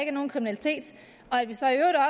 er nogen kriminalitet